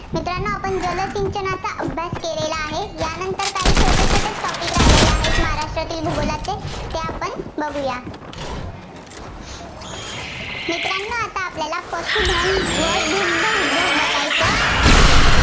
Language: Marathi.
अभ्यास केलेला आहे. त्यानंतर काय छोटे छोट topic राहिलेले आहेत. महाराष्ट्रातील भूगोलचे ते आपण बघुया. मित्रांनो आता आपल्याला पशुधन व दुग्धउद्योग बघायचं आहे.